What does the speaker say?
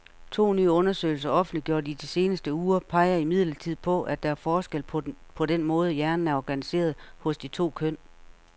To nye undersøgelser, offentliggjort i de seneste uger, peger imidlertid på, at der er forskel på den måde, hjernen er organiseret hos de to køn.